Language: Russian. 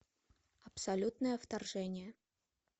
абсолютное вторжение